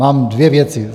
Mám dvě věci.